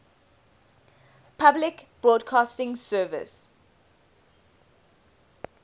public broadcasting service